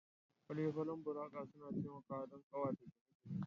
Fale-falen buraka suna taimakawa don ƙawata gine-gine